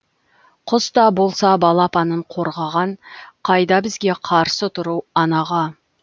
құс та болса балапанын қорғаған қайда бізге қарсы тұру анаға